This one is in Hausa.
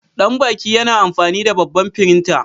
Danbaki yana amfani da babban firinta.